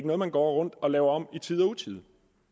noget man går rundt og laver om i tide og utide